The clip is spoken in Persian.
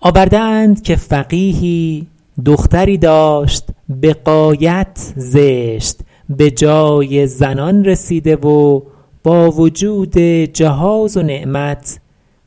آورده اند که فقیهی دختری داشت به غایت زشت به جای زنان رسیده و با وجود جهاز و نعمت